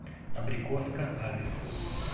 абрикоска адрес